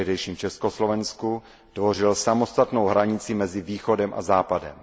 v tehdejším Československu, tvořil samostatnou hranici mezi východem a západem.